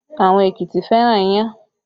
Àwọn Èkìtì fẹ́ràn iyán